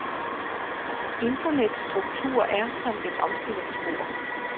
Internets struktur er som et omstillingsbord.